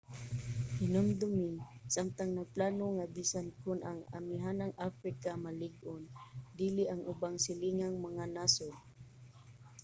hinumdumi samtang nagplano nga bisan kon ang amihanang africa malig-on dili ang ubang silingang mga nasod